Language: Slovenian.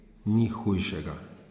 Ni hujšega!